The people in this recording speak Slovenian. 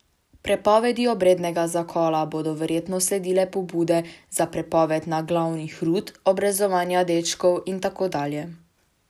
Prepovedi obrednega zakola bodo verjetno sledile pobude za prepoved naglavnih rut, obrezovanja dečkov in tako dalje.